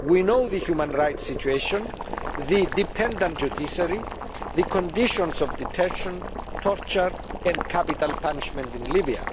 We know about the human rights situation, the dependent judiciary, the conditions of detention, torture and capital punishment in Libya.